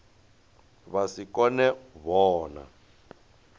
vha si kone u vhona